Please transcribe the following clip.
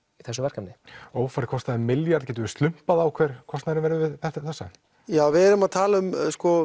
þessu verkefni ófærð kostaði milljarð getum við slumpað á hver kostnaðurinn verður við þessa við erum að tala um